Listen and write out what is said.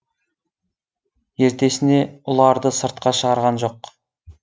ертесіне ұларды сыртқа шығарған жоқ